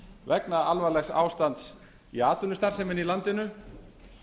vegna alvarlegs ástands í atvinnustarfseminni í landinu